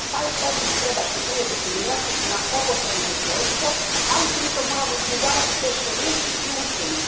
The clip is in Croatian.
Taj oblik treba što prije definirati na obostrano zadovoljstvo, ali pritom moramo izbjegavati teške riječi i ucjene.